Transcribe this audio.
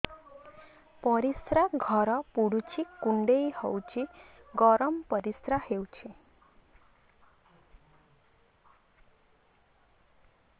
ପରିସ୍ରା ଘର ପୁଡୁଚି କୁଣ୍ଡେଇ ହଉଚି ଗରମ ପରିସ୍ରା ହଉଚି